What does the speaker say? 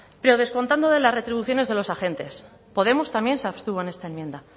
pero descontando de las retribuciones de los agentes podemos también se abstuvo en esta enmienda